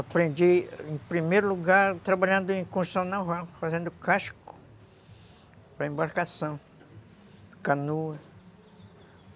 Aprendi, em primeiro lugar, trabalhando em construção naval, fazendo casco para embarcação, canoas.